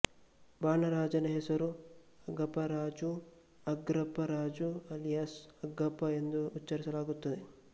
ಬಾಣ ರಾಜನ ಹೆಸರು ಅಗಾಪರಾಜು ಅಗ್ರಪರಾಜು ಅಲಿಯಾಸ್ ಅಗಪ್ಪ ಎಂದೂ ಉಚ್ಚರಿಸಲಾಗುತ್ತದೆ